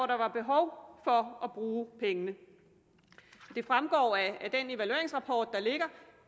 der var behov for at bruge pengene det fremgår af den evalueringsrapport der ligger